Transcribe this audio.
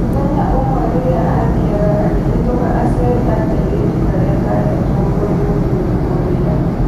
Muthenya ũmwe rĩrĩa a thiaga akĩhĩtũka aciari a kairĩtu karĩa kahetwo kũri mũthuri ũrĩa.